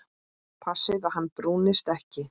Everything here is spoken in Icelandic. Passið að hann brúnist ekki.